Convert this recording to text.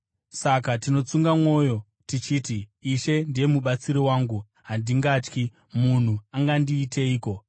Saka tinotsunga mwoyo, tichiti: “Ishe ndiye mubatsiri wangu, handingatyi. Munhu angandiiteiko?”